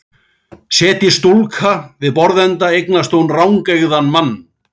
Setjist stúlka við borðsenda eignast hún rangeygðan mann.